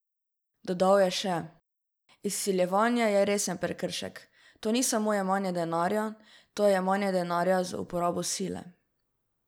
Dodal je še: 'Izsiljevanje je resen prekršek, to ni samo jemanje denarja, to je jemanje denarja z uporabo sile.